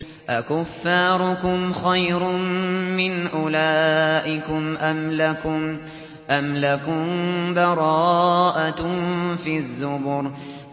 أَكُفَّارُكُمْ خَيْرٌ مِّنْ أُولَٰئِكُمْ أَمْ لَكُم بَرَاءَةٌ فِي الزُّبُرِ